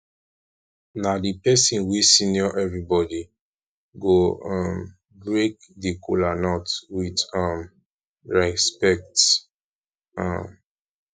na di pesin wey senior evribodi go um break di kolanut with um respekt um